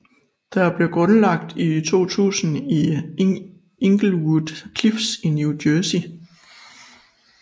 Det blev grundlagt i 2000 i Englewood Cliffs i New Jersey